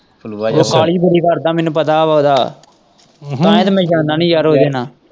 ਫਲੂਆ ਜਿਹਾ ਉਹ ਕਾਹਲੀ ਬੜੀ ਕਰਦਾ ਮੈਨੂੰ ਪਤਾ ਹੈ ਉਹਦਾ ਤਾਂ ਹੀ ਤੇ ਮੈਂ ਜਾਂਦਾ ਨਹੀਂ ਉਹਦੇ ਨਾਲ।